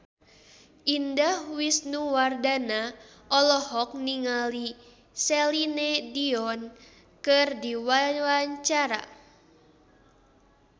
Indah Wisnuwardana olohok ningali Celine Dion keur diwawancara